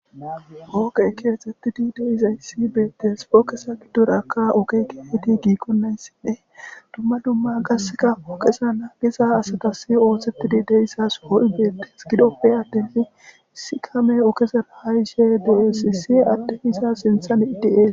Ooqe keexettidi deiza hissi beettes pookesa giddorakka ooke keeeti giikkonnayssinne dumma dumma gaseka ooqesa naagiza asatasi oothsettidi deissas ho7i beettes gidoppe attenne sikame ookeser haayishe diesisi addehisa sinthan idies